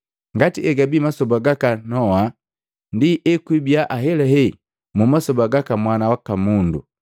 ngati egabii masoba gaka Noa, ndi ekwibia ahelahe mu masoba gaka Mwana waka Mundu.